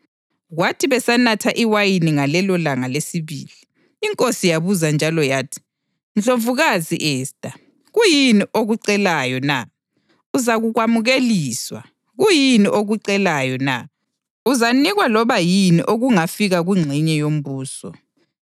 kwathi besanatha iwayini ngalelolanga lesibili, inkosi yabuza njalo yathi, “Ndlovukazi Esta, kuyini okucelayo na? Uzakukwamukeliswa. Kuyini okucelayo na? Uzanikwa loba yini okungafika kungxenye yombuso.”